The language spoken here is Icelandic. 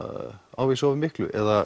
ávísa of miklu eða